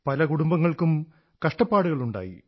പല കുടുംങ്ങൾക്കും കഷ്ടപ്പാടുകളുണ്ടായി